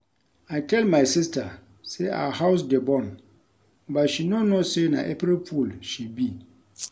I tell my sister say our house dey burn but she no know say na April fool she be